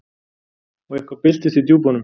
Og eitthvað byltist í djúpunum.